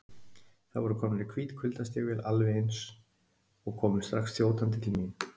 Þær voru komnar í hvít kuldastígvél, alveg eins, og komu strax þjótandi til mín.